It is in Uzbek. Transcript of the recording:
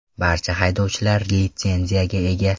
Barcha haydovchilar litsenziyaga ega.